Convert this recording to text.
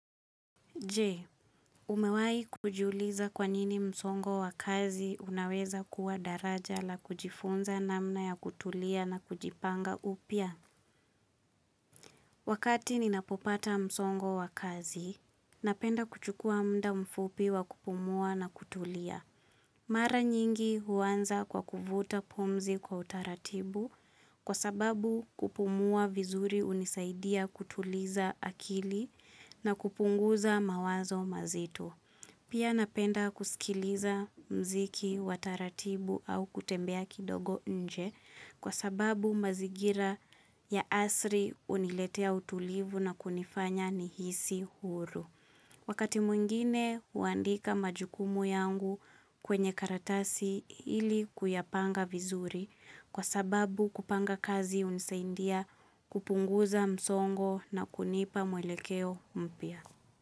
Je, umewahi kujiuliza kwa nini msongo wa kazi unaweza kuwa daraja la kujifunza namna ya kutulia na kujipanga upya? Wakati ninapopata msongo wa kazi, napenda kuchukua muda mfupi wa kupumua na kutulia. Mara nyingi huanza kwa kuvuta pumzi kwa utaratibu kwa sababu kupumua vizuri hunisaidia kutuliza akili na kupunguza mawazo mazito. Pia, napenda kusikiliza mziki wa taratibu au kutembea kidogo nje kwa sababu mazingira ya asri huniletea utulivu na kunifanya nihisi huru. Wakati mwingine huandika majukumu yangu kwenye karatasi ili kuyapanga vizuri kwa sababu kupanga kazi hunisaidia kupunguza msongo na kunipa mwelekeo mpya.